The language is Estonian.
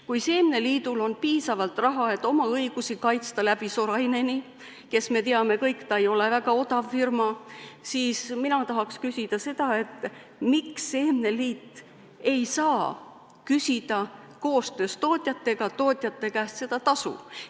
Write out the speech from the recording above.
Kui seemneliidul on piisavalt raha, et kaitsta oma õigusi läbi Soraineni, kes, nagu me kõik teame, ei ole väga odav firma, siis mina tahaks küsida seda, miks seemneliit ei saa küsida koostöös tootjatega tootjate käest seda tasu.